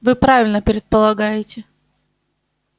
вы правильно предполагаете